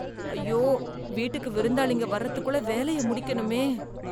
அய்யோ, வீட்டுக்கு விருந்தாளிக வரதுக்குள்ள வேலைய முடிக்கணுமே.